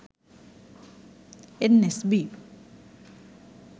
nsb